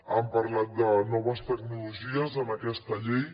han parlat de noves tecnologies en aquesta llei